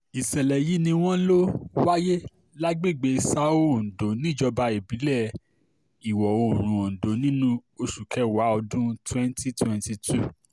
ìṣẹ̀lẹ̀ yìí ni wọ́n lọ wáyé lágbègbè são ondo níjọba ìbílẹ̀ iwọ-oòrùn ondo nínú oṣù kẹwàá ọdún twenty twenty two